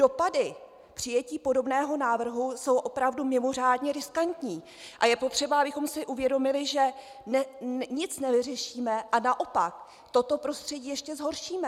Dopady přijetí podobného návrhu jsou opravdu mimořádně riskantní a je potřeba, abychom si uvědomili, že nic nevyřešíme a naopak toto prostředí ještě zhoršíme.